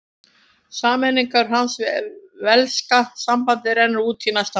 Samningur hans við velska sambandið rennur út í næsta mánuði.